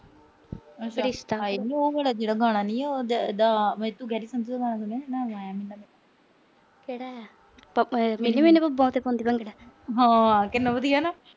ਉਹ ਵਾਲਾ ਗਾਣਾ ਨੀ ਆ ਜਿਹੜਾ ਗੈਰੀ ਸੰਧੂ ਦਾ ਗਾਣਾ ਸੁਣਿਆ ਮੈਂ ਕਿਹੜਾ ਆ ਹਾਂ ਕਿੰਨਾ ਵਧੀਆ ਨਾ।